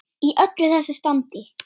Í öllu þessu standi.